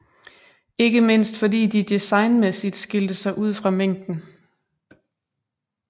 Ikke mindst fordi de designmæssigt skilte sig ud fra mængden